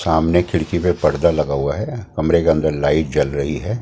सामने खिड़की पे पर्दा लगा हुआ है कमरे के अंदर लाइट जल रही है।